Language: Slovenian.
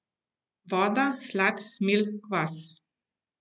Voda, slad, hmelj, kvas.